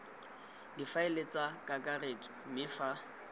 difaele tsa kakaretso mme fa